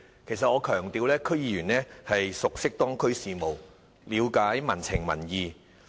我想強調，區議員熟悉當區事務，了解民情民意。